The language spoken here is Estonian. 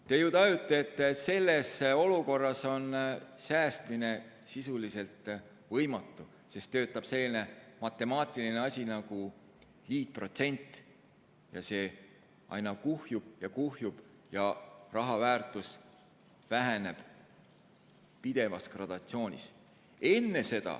Te ju tajute, et selles olukorras on säästmine sisuliselt võimatu, sest töötab selline matemaatiline asi nagu liitprotsent, mis aina kuhjub ja kuhjub ja raha väärtus väheneb pidevas gradatsioonis.